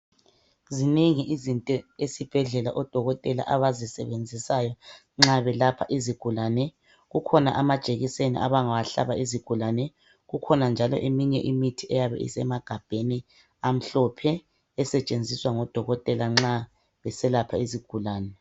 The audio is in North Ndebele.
zinengi izinto esibhedlela odokotela abazisebenzisayo nxa belapha izigulane, kukhona amajekiseni abangawahlaba izigulane, kukhona njalo eminye imithi esemagabheni amhlophe esetshenziswa ngodokotela nxa beselapha izigulane.